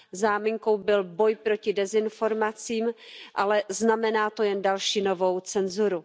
Záminkou byl boj proti dezinformacím, ale znamená to jen další novou cenzuru.